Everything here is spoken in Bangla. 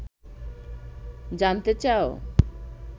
জানতে চাও